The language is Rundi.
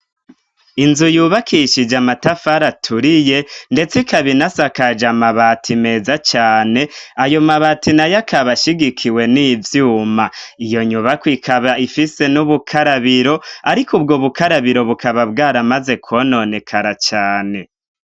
Inzu yubakishije amatafari aturiye ndetse ikaba isakaje amabati meza cane, ayomabati nayo akaba ashigikiwe n'ivyuma. Iyonyubako ikaba ifise n'ubukarabiro ariko ubwobukarabiro bukaba bwaramaze kwononekara cane.